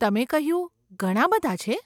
તમે કહ્યું, ઘણાં બધાં છે?